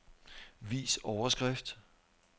Vis overskrift.